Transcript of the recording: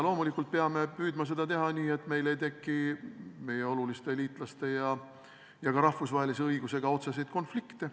Loomulikult peame püüdma seda teha nii, et meil ei teki meie oluliste liitlaste ja ka rahvusvahelise õigusega otseseid konflikte.